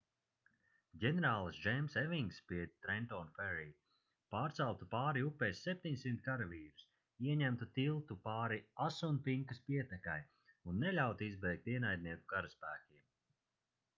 ģenerālis džeims evings pie trenton ferry pārceltu pāri upei 700 karavīrus ieņemtu tiltu pāri asunpinkas pietekai un neļautu izbēgt ienaidnieku karaspēkiem